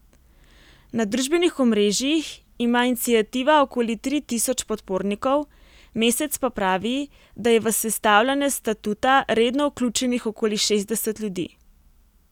Na družbenih omrežjih ima iniciativa okoli tri tisoč podpornikov, Mesec pa pravi, da je v sestavljanje statuta redno vključenih okoli šestdeset ljudi.